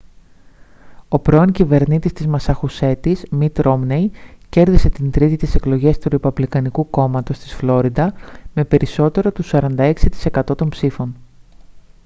ο πρώην κυβερνήτης της μασαχουσέτης μιτ ρόμνεϊ κέρδισε την τρίτη τις εκλογές του ρεπουμπλικανικού κόμματος της φλόριντα με περισσότερο του 46% των ψήφων